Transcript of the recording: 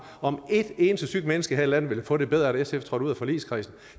om et eneste sygt menneske her i landet vil få det bedre af at sf trådte ud af forligskredsen